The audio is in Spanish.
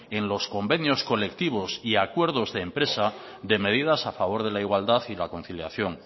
en los convenios colectivos y acuerdos de empresa de medidas a favor de la igualdad y la conciliación